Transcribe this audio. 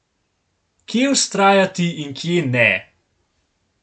Kje vztrajati in kje ne?